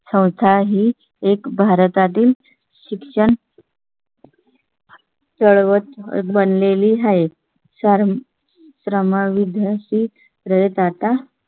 संस्था ही एक भारतातील शिक्षण . तळ बन लेली आहे. रामा विद्यार्थी आहेत. आता